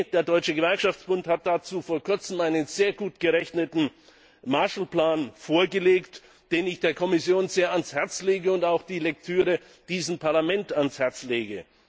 Der Deutsche Gewerkschaftsbund hat dazu vor kurzem einen sehr gut gerechneten Marshallplan vorgelegt, den ich der Kommission sehr ans Herz lege, und dessen Lektüre ich auch diesem Parlament ans Herz lege.